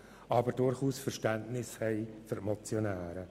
wir haben aber durchaus Verständnis für die Motionäre.